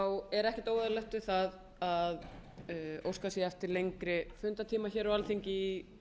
er óskað atkvæðagreiðslu um þessa tillögu forseta